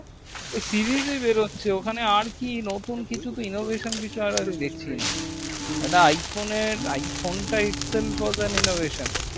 তো series এ বেরোচ্ছে একটা iphonar iphone টাও its of yhe foll of the enovisan